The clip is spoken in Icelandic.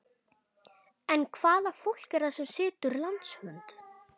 En hvaða fólk er það sem situr landsfund?